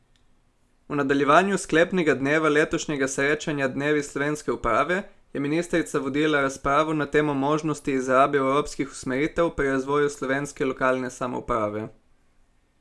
V nadaljevanju sklepnega dneva letošnjega srečanja Dnevi slovenske uprave je ministrica vodila razpravo na temo možnosti izrabe evropskih usmeritev pri razvoju slovenske lokalne samouprave.